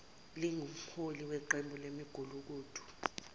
lingumholi weqembu lemigulukudu